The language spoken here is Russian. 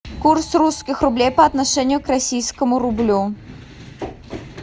курс русских рублей по отношению к российскому рублю